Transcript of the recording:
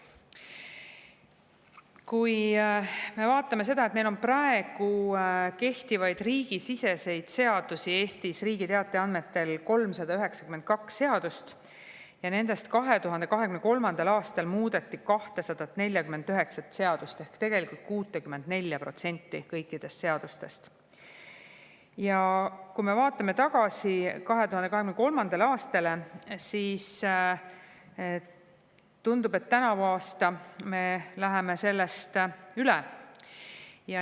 Kui me vaatame seda, et Eestis on praegu kehtivaid riigisiseseid seadusi Riigi Teataja andmetel 392 ja nendest 2023. aastal muudeti 249 ehk tegelikult 64% kõikidest seadustest, ja kui me vaatame tagasi 2023. aastale, siis tundub, et tänavu me ületame seda.